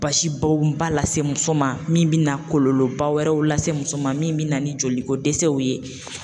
Basi bɔn ba lase muso ma min bɛna kɔlɔlɔ ba wɛrɛw lase muso ma min bɛ na ni joliko dɛsɛw ye.